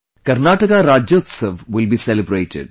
Karnataka Rajyotsava will be celebrated